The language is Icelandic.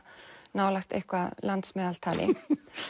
nálægt eitthvað landsmeðaltali